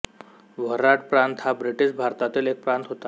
वऱ्हाड प्रांत हा ब्रिटिश भारतातील एक प्रांत होता